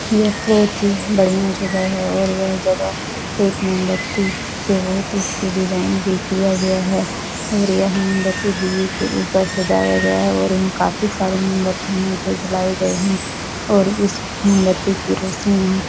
यह बहुत ही बढ़िया जगह है और यह जगह एक मोमबत्ती से बहोत ही इसकी डिजाइन भी किया गया है और यह मोमबत्ती दीये के ऊपर सजाया गया है और यहाँ काफी सारे मोमबत्तियां है जो जलाये गए हैं और इस मोमबत्ती की रोशनी यहाँ --